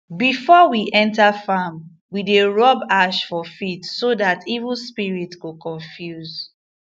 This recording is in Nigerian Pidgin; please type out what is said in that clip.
before we enter farm we dey rub ash four feet so that evil spirit go confuse